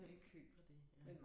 Hvem køber det ja